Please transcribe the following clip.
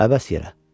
Əbəs yerə.